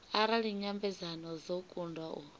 arali nyambedzano dzo kundwa u